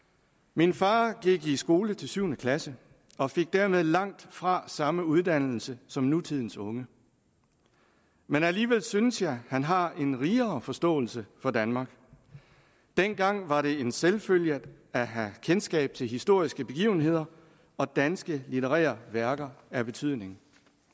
min far gik i skole til syvende klasse og fik dermed langtfra samme uddannelse som nutidens unge alligevel synes jeg at han har en rigere forståelse for danmark dengang var det en selvfølge at have kendskab til historiske begivenheder og danske litterære værker af betydning